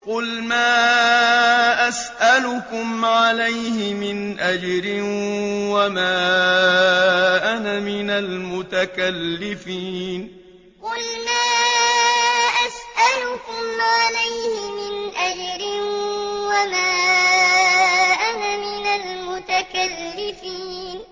قُلْ مَا أَسْأَلُكُمْ عَلَيْهِ مِنْ أَجْرٍ وَمَا أَنَا مِنَ الْمُتَكَلِّفِينَ قُلْ مَا أَسْأَلُكُمْ عَلَيْهِ مِنْ أَجْرٍ وَمَا أَنَا مِنَ الْمُتَكَلِّفِينَ